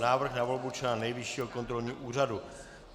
Návrh na volbu člena Nejvyššího kontrolního úřadu